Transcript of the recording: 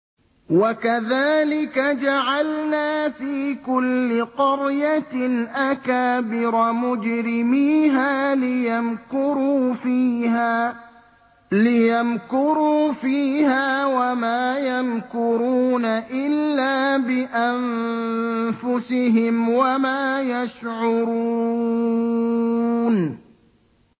وَكَذَٰلِكَ جَعَلْنَا فِي كُلِّ قَرْيَةٍ أَكَابِرَ مُجْرِمِيهَا لِيَمْكُرُوا فِيهَا ۖ وَمَا يَمْكُرُونَ إِلَّا بِأَنفُسِهِمْ وَمَا يَشْعُرُونَ